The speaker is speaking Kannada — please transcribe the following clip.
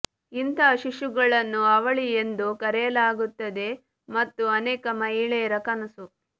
ಇಂತಹ ಶಿಶುಗಳನ್ನು ಅವಳಿ ಎಂದು ಕರೆಯಲಾಗುತ್ತದೆ ಮತ್ತು ಅನೇಕ ಮಹಿಳೆಯರ ಕನಸು